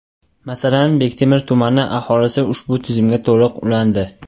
Masalan, Bektemir tumani aholisi ushbu tizimga to‘liq ulandi.